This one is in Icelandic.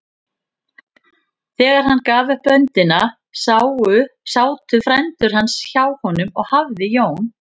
Þegar hann gaf upp öndina sátu frændur hans hjá honum og hafði Jón